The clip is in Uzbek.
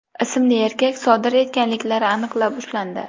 ismli erkak sodir etganliklari aniqlanib, ushlandi.